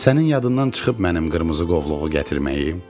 Sənin yadından çıxıb mənim qırmızı qovluğu gətirməyim?